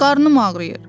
Qarnım ağrıyır.